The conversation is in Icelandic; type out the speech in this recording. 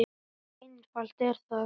Svo einfalt er það!